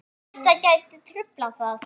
Og þetta gæti truflað það?